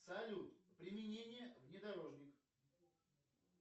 салют применение внедорожника